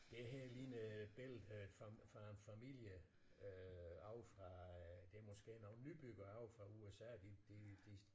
Det her ligner et billede øh fra fra en familie øh ovre fra øh det er måske nogle nybyggere ovre fra USA de de de